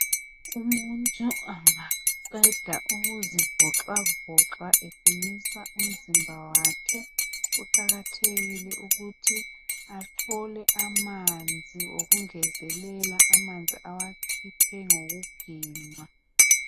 Umuntu angaqeda ukuzivoxavoxa eqinisa umzimba wakhe kuqakathekile ukuthi athole amanzi okungezelela amanzi awakhuphe ngokuginqa.